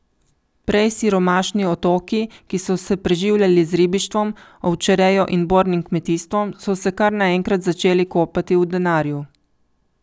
Prej siromašni otoki, ki so se preživljali z ribištvom, ovčerejo in bornim kmetijstvom, so se kar naenkrat začeli kopati v denarju.